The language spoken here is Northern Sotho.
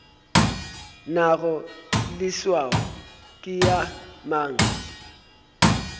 nago leswao ke ya mang